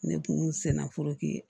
Ne kun senna